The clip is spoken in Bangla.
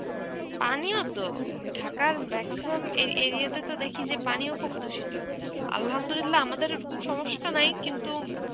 পানিও তো, ঢাকার maximum এ~ area তে তো দেখি যে পানিও খুব দূষিত. Arbi আমাদের ওরকম সমস্যা নাই কিন্তু